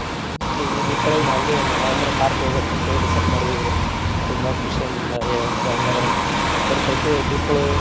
ಈ ದೀಪಾವಳಿಗ ನಾವೇ ಒಂದ್ Mahindra Thar ತಗೋಬೇಕಂತ ಹೇಳಿ decide ಮಾಡಿದೇವ್ರಿ ತುಂಬಾ ಖುಷಿಯಿಂದ ಹೆಂಗ ಅದ್ರಾಗ ಇರ್ತೈತಿ ದೀಪಾವಳಿ.